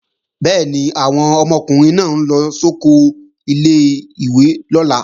Bẹ́ẹ̀ni, àwọn ọmọkùnrin náà ń lọ sóko ilé-ìwé lọ́la